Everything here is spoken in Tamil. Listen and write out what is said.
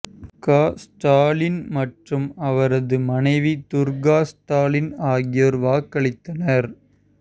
க ஸ்டாலின் மற்றும் அவரது மனைவி துர்கா ஸ்டாலின் ஆகியோர் வாக்களித்தனர்